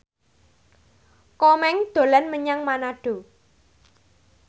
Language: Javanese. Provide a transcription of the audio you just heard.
Komeng dolan menyang Manado